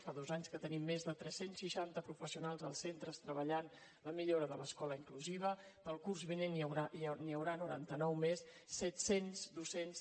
fa dos anys que tenim més de tres cents i seixanta professionals als centres que treballen la millora de l’escola inclusiva per al curs vinent n’hi haurà noranta nou més set cents docents